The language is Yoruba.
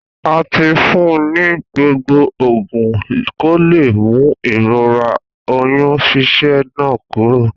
A ti fún ni gbogbo ogún ko le mú ìrora oyún ṣíṣẹ́ náà kuro